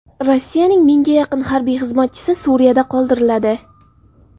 Rossiyaning mingga yaqin harbiy xizmatchisi Suriyada qoldiriladi.